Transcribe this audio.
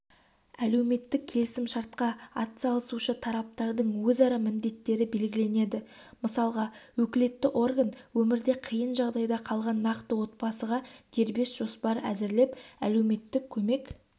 әлеуметтік келісімшартқа атсалысушы тараптардың өзара міндеттері белгіленеді мысалға өкілетті орган өмірде қиын жағдайда қалған нақты отбасыға дербес жоспар әзірлеп әлеуметтік көмек